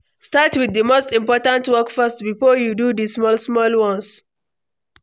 Start with the most important work first before you do the small-small ones.